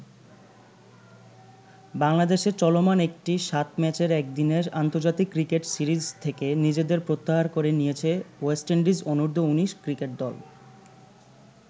বাংলাদেশে চলমান একটি ৭ ম্যাচ একদিনের আন্তর্জাতিক ক্রিকেট সিরিজ থেকে নিজেদের প্রত্যাহার করে নিয়েছে ওয়েস্ট ইন্ডিজ অনূর্ধ্ব-১৯ ক্রিকেট দল।